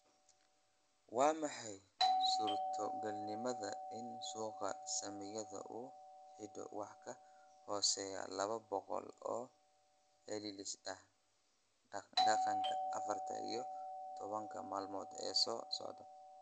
Waa maxay suurtogalnimada in suuqa saamiyada uu xidho wax ka hooseeya laba boqol oo celceliska dhaqdhaqaaqa afarta iyo tobanka maalmood ee soo socda